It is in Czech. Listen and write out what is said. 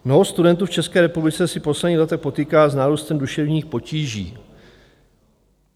Mnoho studentů v České republice se poslední léta potýká s nárůstem duševních potíží.